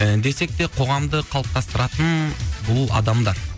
і десек те қоғамды қалыптастыратын бұл адамдар